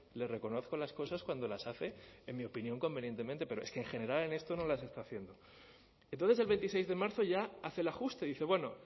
le reconozco las cosas cuando las hace en mi opinión convenientemente pero es que en general en esto no las está haciendo entonces el veintiséis de marzo ya hace el ajuste dice bueno